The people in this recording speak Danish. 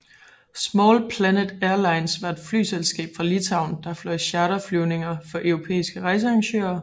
Small Planet Airlines var et flyselskab fra Litauen der fløj charterflyvninger for europæiske rejsearrangører